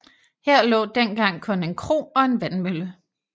Her lå dengang kun en kro og en vandmølle